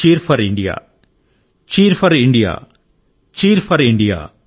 cheer 4 India cheer 4 India cheer 4 India